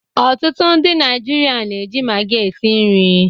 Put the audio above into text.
Ọtụtụ ndị Naijiria na-eji Magi esi nri.